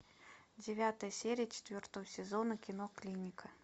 девятая серия четвертого сезона кино клиника